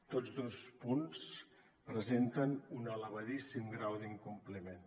tots dos punts presenten un elevadíssim grau d’incompliment